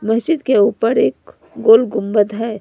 मस्जिद के ऊपर एक गोल गुंबद है।